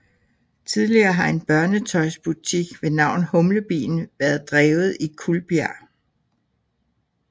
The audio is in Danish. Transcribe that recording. Tidligere har en børnetøjsbutik ved navn Humlebien været drevet i Kuldbjerg